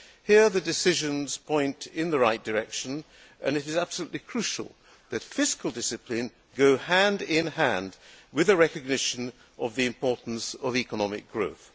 Here the decisions point in the right direction and it is absolutely crucial that fiscal discipline goes hand in hand with the recognition of the importance of economic growth.